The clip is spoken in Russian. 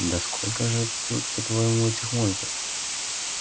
да сколько же тут по-твоему этих монстров